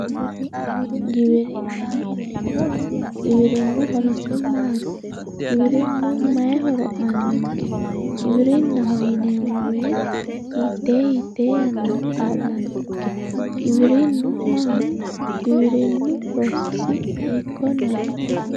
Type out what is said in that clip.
Giwirinaho yineemmohu giwirinu horosi maati, giwirinu maayi horo aanonke giwirinaho yineemmo woyte hiite hiite yannara kaa'lanonke giwirinu maati ,giwirinuhu loosisi hiikkoneti.